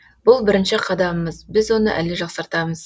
бұл бірінші қадамымыз біз оны әлі жақсартамыз